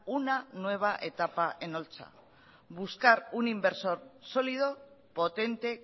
una nueva etapa en holtza buscar un inversor sólido potente